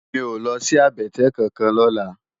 Mi ó lòsi àbètè kánkán lòlá